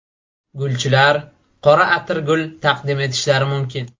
Gulchilar qora atirgul taqdim etishlari mumkin.